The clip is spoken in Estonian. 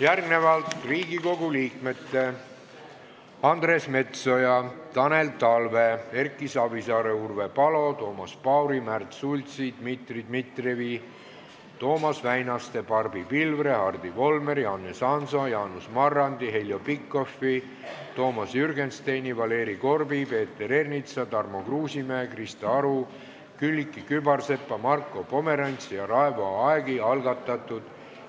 Järgmine punkt on Riigikogu liikmete Andres Metsoja, Tanel Talve, Erki Savisaare, Urve Palo, Toomas Pauri, Märt Sultsi, Dmitri Dmitrijevi, Toomas Väinaste, Barbi Pilvre, Hardi Volmeri, Hannes Hanso, Jaanus Marrandi, Heljo Pikhofi, Toomas Jürgensteini, Valeri Korbi, Peeter Ernitsa, Tarmo Kruusimäe, Krista Aru, Külliki Kübarsepa, Marko Pomerantsi ja Raivo Aegi algatatud